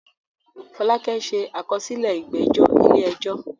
Fọlákẹ́ ṣe àkọsílẹ̀ ìgbẹ́jọ́ ilé ẹjọ́